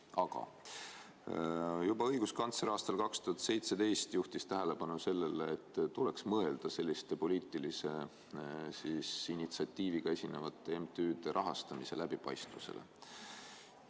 Aga õiguskantsler juhtis juba aastal 2017 tähelepanu sellele, et tuleks mõelda selliste poliitilise initsiatiiviga esinevate MTÜ-de rahastamise läbipaistvusele.